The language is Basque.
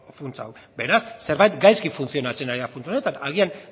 funtsa hau beraz zerbait gaizki funtzionatzen ari da funts honetan agian